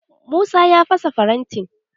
Musa ya fasa farantin.